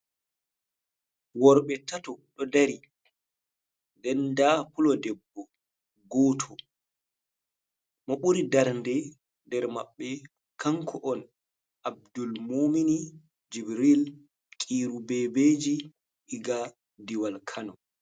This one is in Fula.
Worɓe tato ɗo dari den da fulodebbo goto mo ɓuri darnde nder maɓɓe kanko on abdul mumini jibril kiru bebeji diga diwal kano.